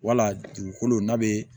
Wala dugukolo n'a bɛ